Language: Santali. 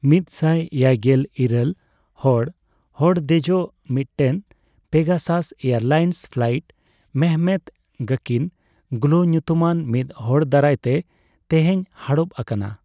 ᱢᱤᱛᱥᱟᱭ ᱮᱭᱟᱭᱜᱮᱞ ᱤᱨᱟᱹᱞ ᱦᱚᱲ ᱦᱚᱲ ᱫᱮᱡᱚᱜ ᱢᱤᱫᱴᱮᱱ ᱯᱮᱜᱟᱥᱟᱥ ᱮᱭᱟᱨᱞᱟᱭᱤᱱᱥ ᱯᱷᱞᱟᱭᱤᱴ ᱢᱮᱦᱚᱢᱮᱛ ᱜᱚᱠᱤᱱ ᱜᱞᱚ ᱧᱩᱛᱩᱢᱟᱱ ᱢᱤᱫ ᱦᱚᱲ ᱫᱟᱨᱟᱭᱛᱮ ᱛᱮᱦᱮᱧ ᱦᱟᱲᱚᱯ ᱟᱠᱟᱱᱟ ᱾